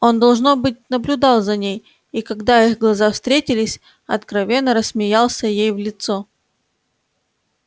он должно быть наблюдал за ней и когда их глаза встретились откровенно рассмеялся ей в лицо